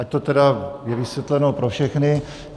Ať je to tedy vysvětleno pro všechny.